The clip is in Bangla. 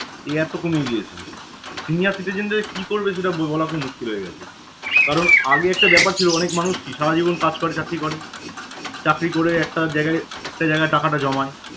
এই এত কমে গিয়েছে senior citizen যে কি করবে সেটা বলা খুব মুশকিল হয়ে গেছে কারণ আগে একটা ব্যাপার ছিল অনেক মানুষ কি সারা জীবন কাজ করে চাকরি করে চাকরি করে একটা জায়গায় একটা জায়গায় টাকাটা জমায়